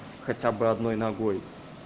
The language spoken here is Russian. хотя бы одной ногой